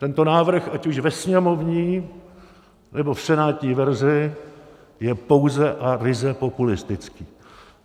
Tento návrh, ať už ve sněmovní, nebo v senátní verzi, je pouze a ryze populistický.